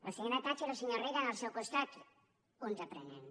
la senyora thatcher i el senyor reagan al seu costat uns aprenents